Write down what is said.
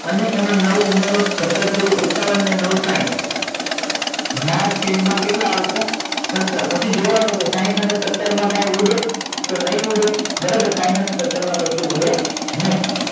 અને એમાં નવ ઉમેરો સત્તર તરી એકાવન ને નવ સાહીંઠ ના છેદ માં કેટલા આવ સે સત્તર પછી જોવા નું કે સાહીંઠ અને સત્તર માં કઈ ઉડે તો નહી ઉડે બરોબર સાહીંઠ અને સત્તર માં કશું ઉડે નહી